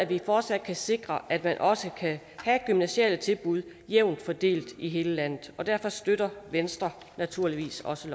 vi fortsat sikre at man også kan have gymnasiale tilbud jævnt fordelt i hele landet og derfor støtter venstre naturligvis også